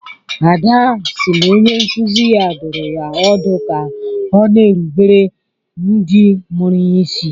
Ada si na onye nkuzi ya dụrụ ya ọdụ ka ọ na-erubere ndị mụrụ ya isi